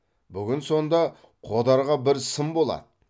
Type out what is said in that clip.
бүгін сонда қодарға бір сын болады